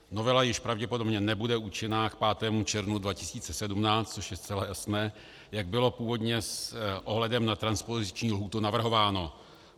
Novela již pravděpodobně nebude účinná k 5. červnu 2017, což je zcela jasné, jak bylo původně s ohledem na transpoziční lhůtu zavrhováno.